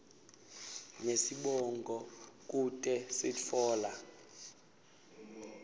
nesibongo kute sitfola